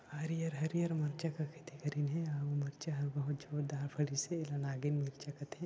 हरिहर हरिहर मिर्चा का खेती करिन हे अउर मिर्चा ह बहुत ज़ोरदार फ़री से आगे चल सकथे।